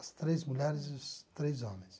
As três mulheres e os três homens.